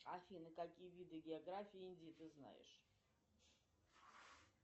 афина какие виды географии индии ты знаешь